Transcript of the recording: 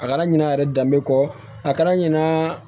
A kɛra ɲina yɛrɛ danbe kɔ a kɛra ɲinan